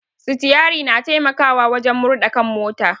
Sitiari na taimakawa wajen murɗa kan mota